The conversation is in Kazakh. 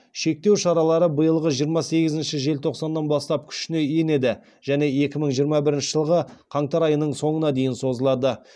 шектеу шаралары биылғы жиырма сегізінші желтоқсаннан бастап күшіні енеді және екі мың жиырма бірінші жылғы қаңтар айының соңына дейін созылады